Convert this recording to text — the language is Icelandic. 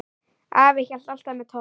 Afi hélt alltaf með Tomma.